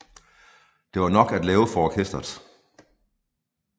Der var nok at lave for orkesteret